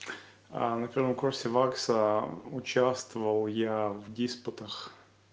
а на втором курсе вакса участвовал я в диспутах